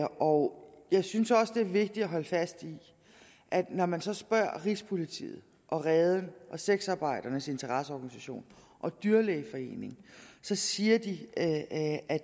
år jeg synes også det er vigtigt at holde fast i at når man så spørger rigspolitiet reden sexarbejdernes interesseorganisation og dyrlægeforeningen siger de at at